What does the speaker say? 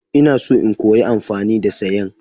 Ina so in koya amfani da sayen.